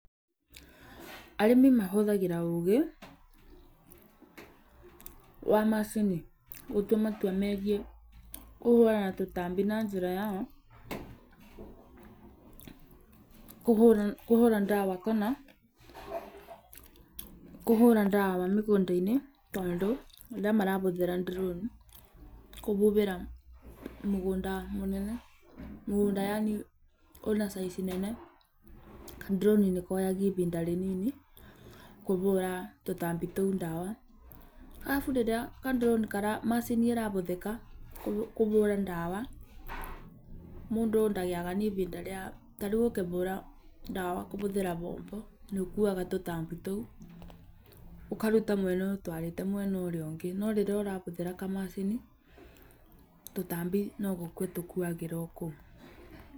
Arĩmi mahũthagĩra ũũgĩ wa macini gũtua matua megiĩ kũhũrana na tũtambi na njĩra ta ya kũhũra ndawa kana kũhũra ndawa mĩgũnda-inĩ tondũ rĩrĩa marahũthĩra droni kũhuhĩra mĩgũnda mĩnene mũgũnad yani wĩna caizi nene kadroni nĩkoyaga ihinda rĩnini kũhũra tũtambi tũu ndawa. Arabu rĩrĩa kadroni macini ĩrahũthĩka kũvũra nawa mũndũ ndagĩaga na ivinda rĩa tarĩu ũkĩhũra ndawa kũhũthĩra moko nĩũkuaga tũtambi tũu, ũkaruta mwena ũyũ ũtwarĩte mwena ũrĩa ĩngĩ, no rĩrĩa ũrahũthĩra kamacini tũtambi nogũkua tũkuagĩra ohau.